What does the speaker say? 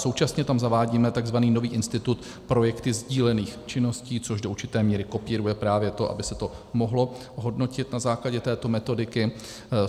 Současně tam zavádíme tzv. nový institut projekty sdílených činností, což do určité míry kopíruje právě to, aby se to mohlo hodnotit na základě této metodiky.